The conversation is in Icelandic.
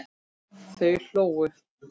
Þau hlógu.